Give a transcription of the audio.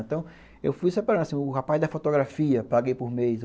Então, eu fui separando, assim, o rapaz da fotografia, paguei por mês.